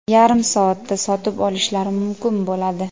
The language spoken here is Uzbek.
yarim soatda sotib olishlari mumkin bo‘ladi.